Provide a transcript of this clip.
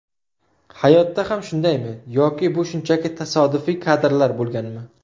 Hayotda ham shundaymi yoki bu shunchaki tasodifiy kadrlar bo‘lganmi?